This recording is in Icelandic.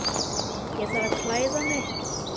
Ég þarf að klæða mig.